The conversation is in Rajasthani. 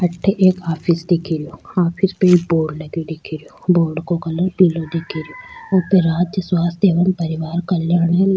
अठे एक ऑफिस दिखे रो ऑफिस पे एक बोर्ड लग्यो दिखे रो बोर्ड का कलर पिलो दिखे रो ऊपर राज्य स्वास्थय एवं परिवार कल्याआन --